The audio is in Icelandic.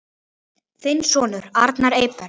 Þinn sonur, Arnar Eyberg.